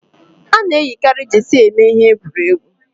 Ana eyikari jeesi eme ihe egwuregwu